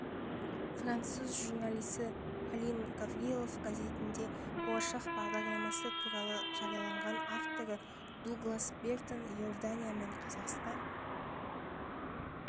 француз журналисі полин гаврилов газетінде болашақ бағдарламасы туралы жариялаған авторы дуглас бертон иордания мен қазақстан